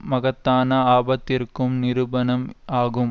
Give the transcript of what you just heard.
மகத்தான ஆபத்திற்கும் நிரூபணம் ஆகும்